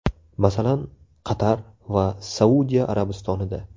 Masalan, Qatar va Saudiya Arabistonida.